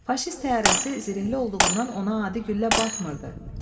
Faşist təyyarəsi zirehli olduğundan ona adi güllə batmırdı.